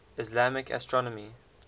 islamic astronomy